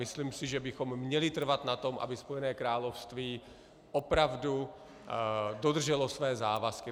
Myslím si, že bychom měli trvat na tom, aby Spojené království opravdu dodrželo své závazky.